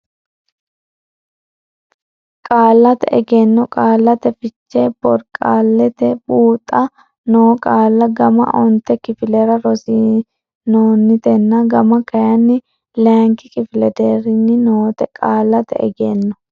Qaallate Egenno Qaallate Fiche Borqaallatenni Buuxa noo qaalla gama onte kifilera rossinoonnitena gama kayinni leyikki kifile deerrinni noote Qaallate Egenno.